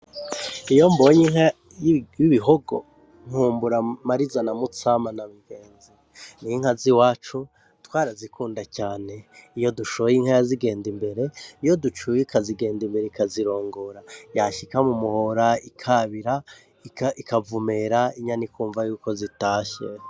Iyo mbonye inka y'ibihogo nkumbura Mariza na Mutsama na Bigenzi ninka ziwacu twarazikunda cane iyo dushoye inka yazigenda imbere, iyo ducuye ikazigenda imbere ikazirongora yashika mu muhora ikabira ikavumera inyana ikumva yuko zitashe.